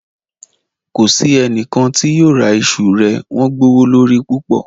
Kò sí ẹnikan tí yóò ra ìṣù rẹ̀, wọn gbowólorí púpọ̀.